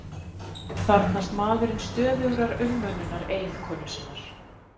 Þarfnast maðurinn stöðugrar umönnunar eiginkonu sinnar